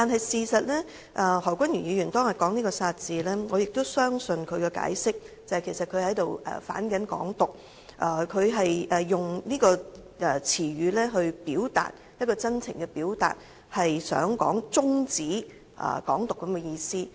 事實上，何君堯議員當日說出"殺"字，我相信他的解釋，他其實是在"反港獨"，是以這個詞語作出真情的表達，抒發要終止"港獨"之意。